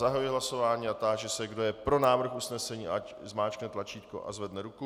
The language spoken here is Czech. Zahajuji hlasování a táži se, kdo je pro návrh usnesení, ať zmáčkne tlačítko a zvedne ruku.